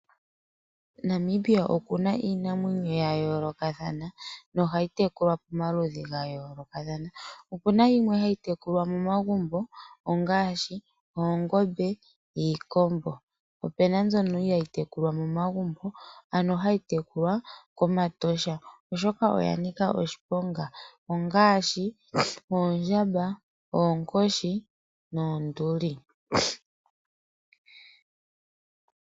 Namibia oku na iinamwenyo ya yoolokathana nohayi tekulwa pomaludhi ga yoolokathana. Opuna mbyono hayi tekulwa momagumbo ngaashi oongombe niikombo, po opuna mbyono hayi tekulilwa koshikunino shiinamwenyo kEtosha oshoka oya nika oshiponga ngaashi oondjamba , oonkoshi noonduli.